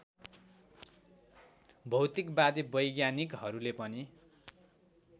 भौतिकवादी वैज्ञानिकहरूले पनि